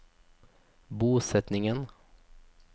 bosetningen